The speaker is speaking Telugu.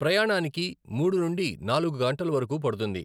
ప్రయాణానికి మూడు నుండి నాలుగు గంటల వరకు పడుతుంది.